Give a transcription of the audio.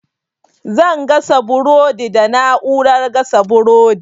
Zan gasa burodi da na'urar gasa burodi.